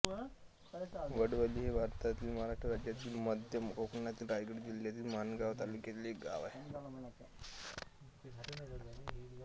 वडवली हे भारतातील महाराष्ट्र राज्यातील मध्य कोकणातील रायगड जिल्ह्यातील माणगाव तालुक्यातील एक गाव आहे